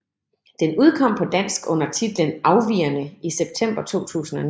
Den udkom på dansk under titlen Afvigerne i september 2009